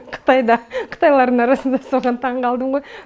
қытайда қытайлардың арасында соған таң қалдымғой